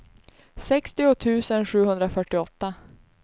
sextio tusen sjuhundrafyrtioåtta